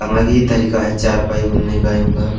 अगल ही तरीका है चारपाई बुनने का इनका --